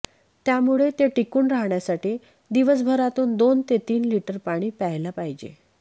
त्यामुळे ते टिकून राहण्यासाठी दिवसभरातून दोन ते तीन लिटर पाणी प्यायला पाहिजे